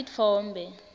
titfombe